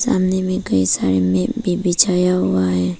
सामने में कई सारे मैट भी बिछाया हुआ है।